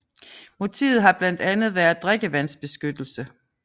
Motivet har blandt andet været drikkevandsbeskyttelse